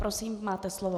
Prosím, máte slovo.